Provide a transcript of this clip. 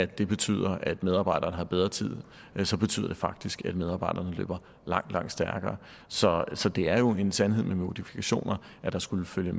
det betyder at medarbejderne har bedre tid så betyder det faktisk at medarbejderne løber langt langt stærkere så så det er jo en sandhed med modifikationer at der skulle følge